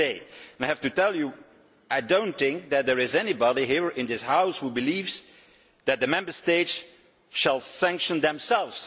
And I have to tell you that I do not think that there is anyone here in this House who believes that the Member States should sanction themselves.